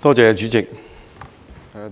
主席，